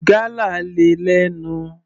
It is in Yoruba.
Gálà le lẹ́nu.